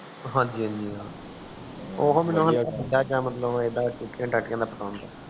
ਹਾਂਜੀ ਹਾਂਜੀ